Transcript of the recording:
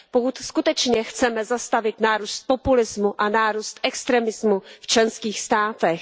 Pokud skutečně chceme zastavit nárůst populismu a nárůst extremismu v členských státech.